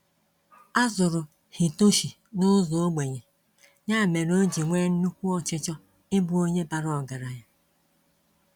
Azụrụ Hitoshi n'ụzọ ogbenye, nya mere oji nwé nnukwu ọchịchọ ịbụ Onye bara ọgaranya.